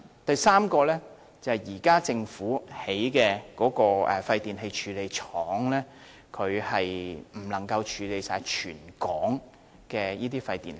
第三，政府現時興建的廢電器處理廠未能處理全港所有的廢電器。